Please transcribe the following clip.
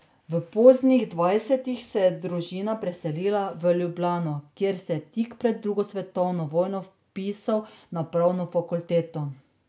V poznih dvajsetih se je družina preselila v Ljubljano, kjer se je tik pred drugo svetovno vojno vpisal na pravno fakulteto.